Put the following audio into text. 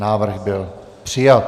Návrh byl přijat.